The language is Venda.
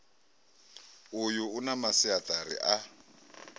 uyu u na masiaṱari a